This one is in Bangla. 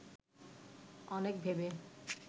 অনেক ভেবে